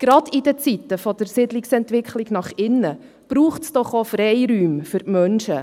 Gerade in Zeiten der Siedlungsentwicklung nach innen braucht es doch auch Freiräume für die Menschen.